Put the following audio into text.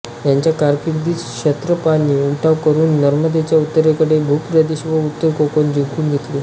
याच्या कारकिर्दीत क्षत्रपांनी उठाव करून नर्मदेच्या उत्तरेकडील भूप्रदेश व उत्तर कोकण जिंकून घेतले